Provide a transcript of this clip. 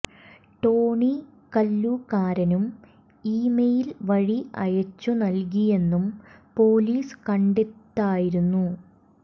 Tony കല്ലൂക്കാരനും email വഴി അയച്ചു നൽകിയെന്നും പോലീസ് കണ്ടെത്തായിരുന്നു